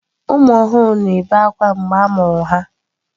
Ụmụ ọhụrụ na-ebe akwa mgbe a mụrụ ha.